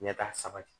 Ɲɛta sabati